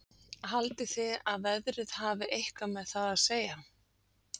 Haldið þið að veðrið hafi eitthvað með það að segja?